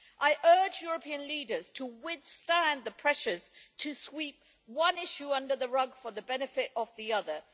I urge European leaders to withstand the pressures to sweep one issue under the rug to the benefit of the other.